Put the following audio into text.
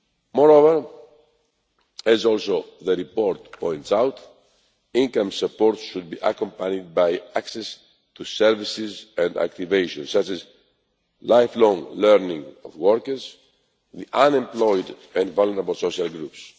Moreover, as the report also points out, income support should be accompanied by access to services and activation, such as lifelong learning, for workers, the unemployed and vulnerable social groups.